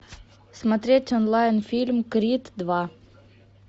смотреть онлайн фильм крид два